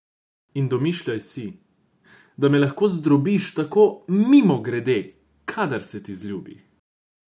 In domišljaš si, da me lahko zdrobiš, tako mimogrede, kadar se ti zljubi.